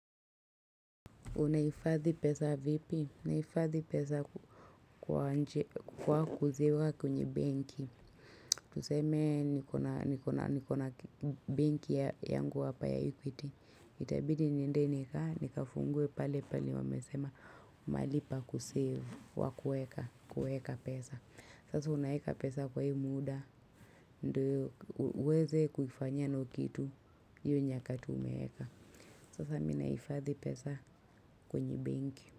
Unahifadhi pesa vipi? Nahifadhi pesa kwa kuziweka kwenye benki. Tuseme niko na benki yangu hapa ya equity. Itabidi niende nikae, nikafungue pale pale wamesema mahali pa kusave kwa kueka pesa. Sasa unaeka pesa kwa hii muda, ndio uweze kufainyia nayo kitu hyo nyakati umeeka. Sasa mimi nahifadhi pesa kwenye benki.